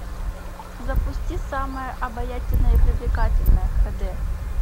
запусти самая обаятельная и привлекательная х д